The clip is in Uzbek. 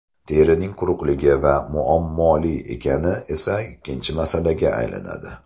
Terining quruqligi va muammoli ekani esa ikkinchi masalaga aylanadi.